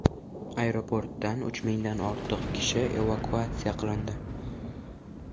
Aeroportdan uch mingdan ortiq kishi evakuatsiya qilindi.